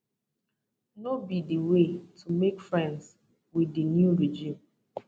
no be di way to make friends with di new regime